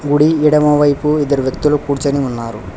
గుడి ఎడమవైపు ఇద్దరు వ్యక్తులు కూర్చుని ఉన్నారు.